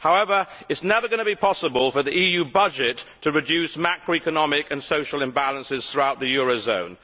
However, it is never going to be possible for the EU budget to reduce macroeconomic and social imbalances throughout the eurozone.